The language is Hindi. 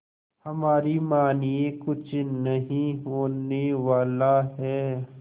हमारी मानिए कुछ नहीं होने वाला है